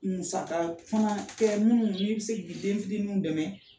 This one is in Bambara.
Musaka fana tɛ minnu n'i bɛ se k'i denmisɛnninw dɛmɛ